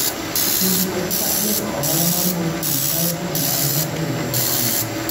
Puonjruok kaka iloso ohala mar mor kich nyalo konyo ahinya e yudo ohala.